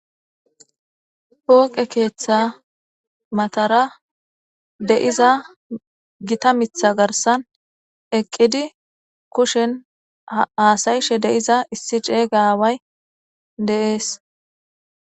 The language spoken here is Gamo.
pooqe keeththa matara deiza gita mitha garsan eqqidi kushen aasayishe deiza issi ceeygaway deees